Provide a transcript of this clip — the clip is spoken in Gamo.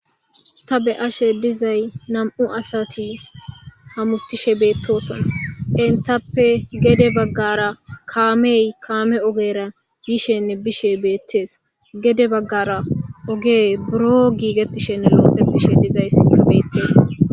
ta beyashe dizay nam7u asati hamutishe beettoson intappe gede baggara kaamey kaame ogera bishenne bishe beettees gede baggara ogey buro giigettishenne loosetishe dizay ka beettees